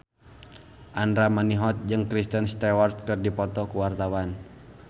Andra Manihot jeung Kristen Stewart keur dipoto ku wartawan